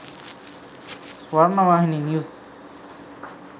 swarnawahini news